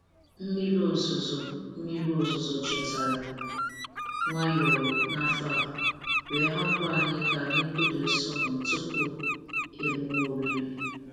Mmiri ozuzo Mmiri ozuzo chetara nwayọọ n’afọ a, wee hapụ anyị ka anyị kụrie sọgọm tupu emume oriri.